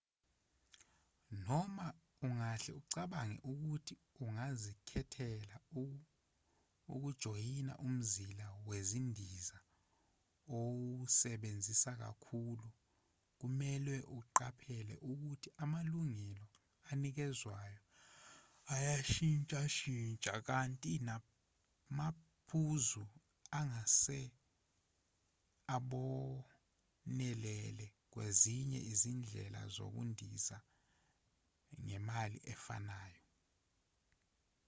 noma ungahle ucabange ukuthi ungazikhethela ukujoyina umzila wezindiza owusebenzisa kakhulu kumelwe uqaphele ukuthi amalungelo anikezwayo ayashintshashintsha kanti namaphuzu angase abonelele kwezinye izindlela zokundiza ngemali efanayo